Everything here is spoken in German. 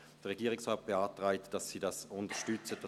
Der Regierungsrat beantragt, dass Sie das Postulat unterstützen.